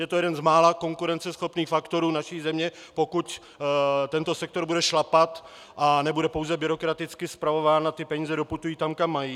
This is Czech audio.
Je to jeden z mála konkurenceschopných faktorů naší země, pokud tento sektor bude šlapat a nebude pouze byrokraticky spravován a ty peníze doputují tam, kam mají.